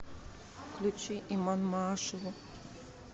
включи иман маашеву